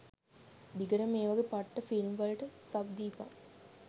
දිගටම මේවගේ පට්ට ෆිල්ම්වලට සබ් දීපන්.